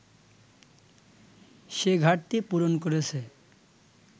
সে ঘাটতি পূরণ করেছে